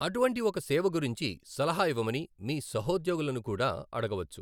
అటువంటి ఒక సేవ గురించి సలహా ఇవ్వమని మీ సహోద్యోగులను కూడా అడగవచ్చు.